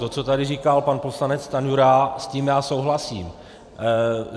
To, co tady říkal pan poslanec Stanjura, s tím já souhlasím.